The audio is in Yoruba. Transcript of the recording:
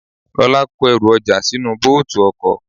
Lola kó èru oja sínú bóòtù ọkọ̀.